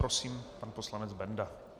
Prosím, pan poslanec Benda.